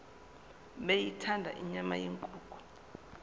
beyithanda inyama yenkukhu